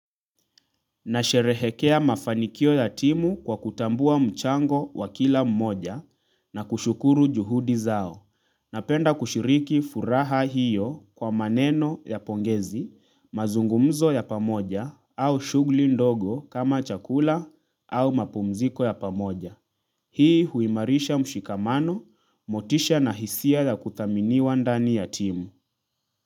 Nasherehekea mafanikio ya timu kwa kutambua mchango wa kila mmoja na kushukuru juhudi zao. Napenda kushiriki furaha hiyo kwa maneno ya pongezi, mazungumzo ya pamoja au shughuli ndogo kama chakula au mapumziko ya pamoja. Hii huimarisha mshikamano, motisha na hisia ya kudhaminiwa ndani ya timu.